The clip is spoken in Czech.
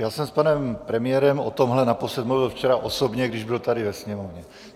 Já jsem s panem premiérem o tomhle naposled mluvil včera osobně, když byl tady ve Sněmovně.